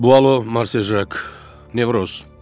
Bu aloq marsiaq nevroz.